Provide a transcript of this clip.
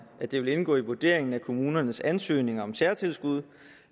at det ville indgå i vurderingen af kommunernes ansøgninger om særtilskud